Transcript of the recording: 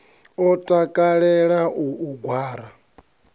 a takalela u u gwara